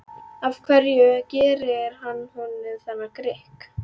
Af hverju gerir hann honum þennan grikk?